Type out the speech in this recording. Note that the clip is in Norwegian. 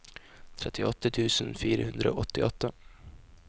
trettiåtte tusen fire hundre og åttiåtte